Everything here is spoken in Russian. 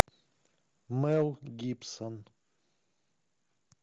мэл гибсон